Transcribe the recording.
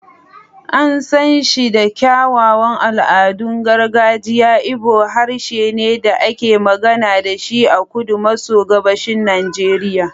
An san shi da kyawawan al'adun gargajiya, Igbo harshe ne da ake magana da shi a kudu maso gabashin Najeriya.